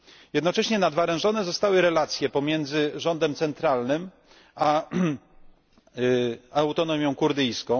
Jednocześnie nadwerężone zostały relacje pomiędzy rządem centralnym a Autonomią Kurdyjską.